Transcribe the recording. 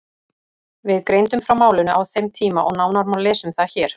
Við greindum frá málinu á þeim tíma og nánar má lesa um það hér.